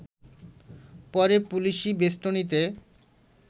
পরে পুলিশি বেস্টনীতে